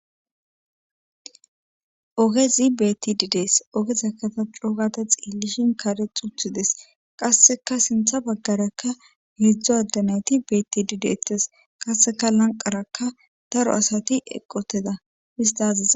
Ogezi beetidi de'ees. ogezan ta coo gada xeelishin karexxi utidees. Qassekka sinththa bagarakka heedzdzu adde nayti beetidi deetees. qassekka daro asati lanqerakka eqqi utida. hista aziza..